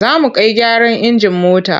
Za mu kai gyaran injin mota.